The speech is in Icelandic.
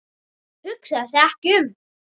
Hugsaði sig ekki um!